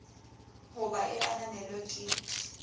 ho ba e ananelwe ke